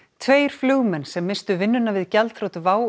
tveir flugmenn sem misstu vinnuna við gjaldþrot WOW